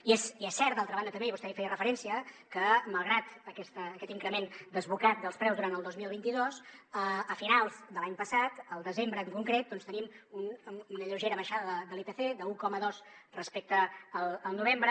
i és cert d’altra banda també i vostè hi feia referència que malgrat aquest increment desbocat dels preus durant el dos mil vint dos a finals de l’any passat al desembre en concret tenim una lleugera baixada de l’ipc d’un coma dos respecte al novembre